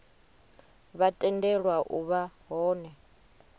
vha tendelwa u vha hone